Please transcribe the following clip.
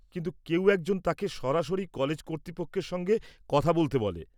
কিন্তু, কেউ একজন তাকে সরাসরি কলেজ কর্তৃপক্ষের সঙ্গে কথা বলতে বলে।